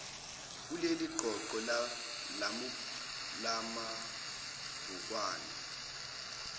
kuleli qoqo lamabhukwana